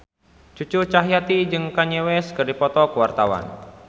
Cucu Cahyati jeung Kanye West keur dipoto ku wartawan